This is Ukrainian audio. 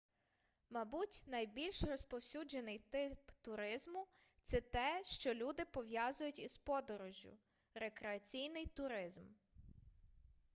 мабуть найбільш розповсюджений тип туризму це те що люди пов'язують із подорожжю рекреаційний туризм